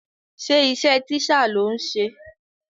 Ṣé iṣẹ́ teacher lò ń ṣe?